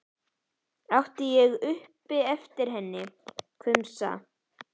át ég upp eftir henni, hvumsa.